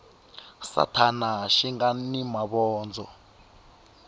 sathana xi nga ni mavondzo